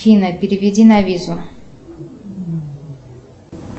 афина переведи на визу